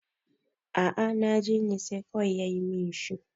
a a najene sai kawai ya yi min shi